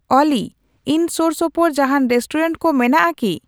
ᱚᱞᱤ ᱤᱧ ᱥᱳᱨᱥᱳᱯᱳᱨ ᱡᱟᱦᱟᱸᱱ ᱨᱮᱥᱴᱩᱨᱮᱱᱴ ᱠᱚ ᱢᱮᱱᱟᱜ ᱟᱠᱤ